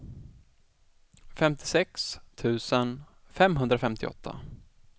femtiosex tusen femhundrafemtioåtta